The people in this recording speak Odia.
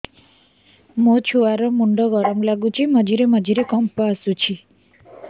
ମୋ ଛୁଆ ର ମୁଣ୍ଡ ଗରମ ଲାଗୁଚି ମଝିରେ ମଝିରେ କମ୍ପ ଆସୁଛି